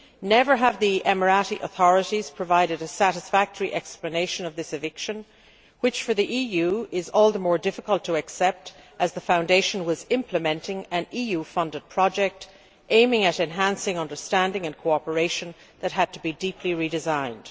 Never have the UAE authorities provided a satisfactory explanation for this eviction, which for the EU is all the more difficult to accept as that foundation was implementing an EU funded project aimed at enhancing understanding and cooperation, which then had to be deeply redesigned.